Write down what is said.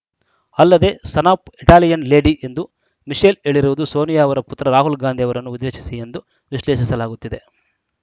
ಅಲ್ಲದೆ son of Italian lady ಎಂದು Michelle ಹೇಳಿರುವುದು ಸೋನಿಯಾ ಅವರ ಪುತ್ರ ರಾಹುಲ್‌ ಗಾಂಧಿ ಅವರನ್ನು ಉದ್ದೇಶಿಸಿ ಎಂದು ವಿಶ್ಲೇಷಿಸಲಾಗುತ್ತಿದೆ